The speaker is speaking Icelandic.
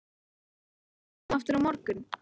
Má ég koma aftur á morgun?